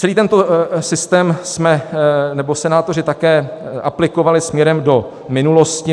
Celý tento systém jsme - nebo senátoři - také aplikovali směrem do minulosti.